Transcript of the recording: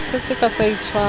se sa ka sa itshwara